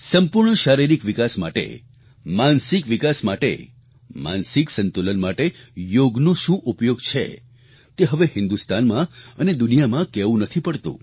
સંપૂર્ણ શારીરિક વિકાસ માટે માનસિક વિકાસ માટે માનસિક સંતુલન માટે યોગનો શું ઉપયોગ છે તે હવે હિન્દુસ્તાનમાં અને દુનિયામાં કહેવું નથી પડતું